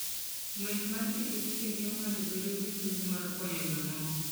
Ng'wech mar pikipiki miyo ng'ato bedo gi chuny mar konyo jomoko.